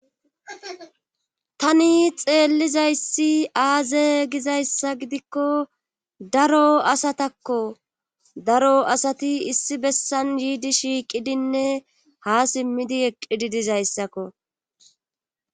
Tani xeellizayssi aaze gizayssa gidikko daro asatakko daro asati issi bessan yiidi shiiqidinne ha simmidi eqqidi dizayssakko